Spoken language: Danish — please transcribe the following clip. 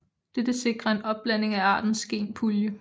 Dette sikrer en opblanding af artens genpulje